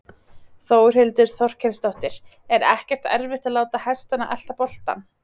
Þórhildur Þorkelsdóttir: Er ekkert erfitt að láta hestana elta boltann?